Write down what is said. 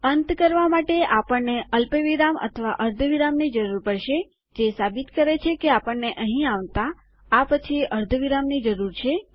અંત કરવા માટે આપણને અલ્પવિરામ અથવા અર્ધવિરામની જરૂર પડશે જે સાબિત કરે છે કે આપણને અહીં આવતા આ પછી અર્ધવિરામની જરૂર છે